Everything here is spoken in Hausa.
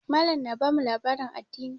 Mallam na bamu labarin addini.